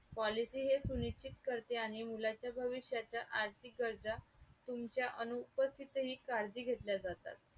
Policy हे सुनिश्च्चित करते आहे मुलांच्या भविष्याच्या आर्थिक गरजा तुमच्या अनुपस्तितही काळजी घेतल्या जातात.